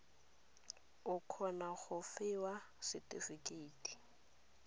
o kgone go fiwa setefikeiti